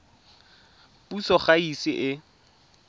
puso ga e ise e